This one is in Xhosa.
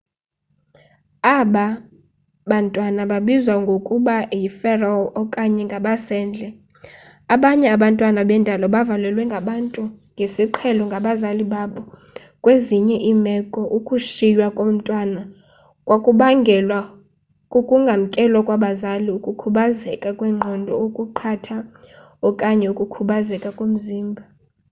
aba bantwana babizwa ngokuba yi feral okanye ngabasendle. abanye abantwana bendalo bavalelwe ngabantu ngesiqhelo ngabazali babo; kwezinye iimeko ukushiywa komntwana kwakubangelwa kukungamkelwa kwabazali ukukhubazeka kwengqondo okuqatha okanye ukukhubazeka komzimba